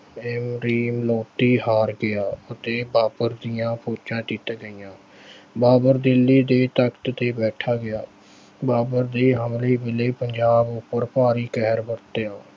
ਇਬਰਾਹਿਮ ਲੋਧੀ ਹਾਰ ਗਿਆ ਅਤੇ ਬਾਬਰ ਦੀਆਂ ਫੌਜਾਂ ਜਿੱਤ ਗਈਆਂ ਬਾਬਰ ਦਿੱਲੀ ਦੇ ਤਖਤ ਤੇ ਬੈਠ ਗਿਆ ਬਾਬਰ ਦੇ ਹਮਲੇ ਵੇਲੇ ਪੰਜਾਬ ਉੱਪਰ ਭਾਰੀ ਕਹਿਰ ਵਰਤਿਆ।